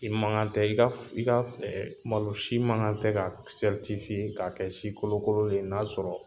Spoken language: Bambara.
I ma kan tɛ i ka malo si ma kan tɛ ka ka kɛ si kolokololen ye na sɔrɔ